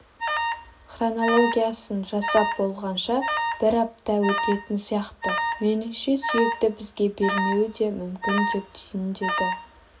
хронологиясын жасап болғанша бір апта өтетін сияқты меніңше сүйекті бізге бермеуі де мүмкін деп түйіндеді